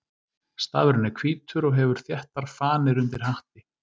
Stafurinn er hvítur og hefur þéttar fanir undir hatti.